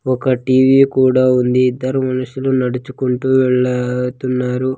ఒక టి_వి కూడా ఉంది ఇద్దరు మనుషులు నడుచుకుంటూ వెళ్తున్నారు.